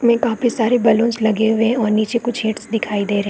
मे काफी सारे बलून्स लगे हुए हैं और नीचे कुछ हैड्स दिखाई दे रहै हैं।